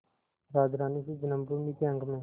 राजरानीसी जन्मभूमि के अंक में